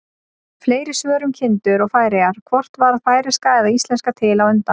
Fleiri svör um kindur og Færeyjar: Hvort varð færeyska eða íslenska til á undan?